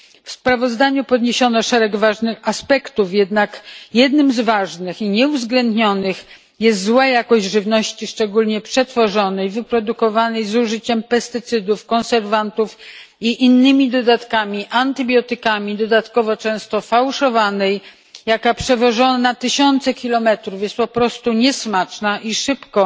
W sprawozdaniu poruszono szereg ważnych aspektów, jednak jednym z ważnych, a nieuwzględnionych aspektów jest zła jakość żywności, szczególnie przetworzonej, wyprodukowanej z użyciem pestycydów, konserwantów i innych dodatków, antybiotyków, dodatkowo często fałszowanej, która, przewożona tysiące kilometrów, jest po prostu niesmaczna i szybko